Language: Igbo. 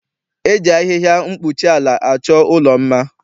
E ji ahịhịa mkpuchiala achọ ụlọ mma.